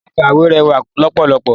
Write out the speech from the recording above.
Yàrá ìkàwé rẹwà lọ́pọ̀lọpọ̀.